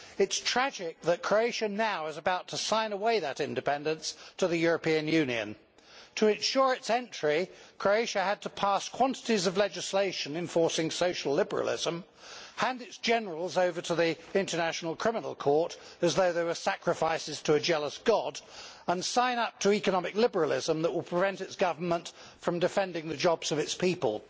It is tragic that Croatia is now about to sign away that independence to the European Union. To ensure its entry, Croatia had to pass quantities of legislation enforcing social liberalism, hand its generals over to the International Criminal Court, as though they were sacrifices to a jealous god, and sign up to economic liberalism that will prevent its government from defending the jobs of its people.